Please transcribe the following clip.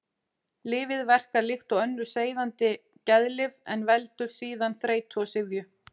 Lyfið verkar líkt og önnur sefandi geðlyf en veldur síður þreytu og syfju.